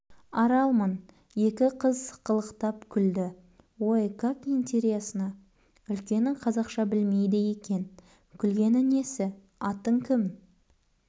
аралмын екі қыз сықылықтап күлді ой как интересно үлкені қазақша білмейді екен күлгені несі атың кім